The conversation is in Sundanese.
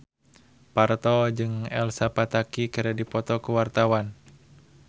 Parto jeung Elsa Pataky keur dipoto ku wartawan